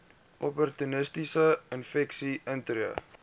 opportunistiese infeksies intree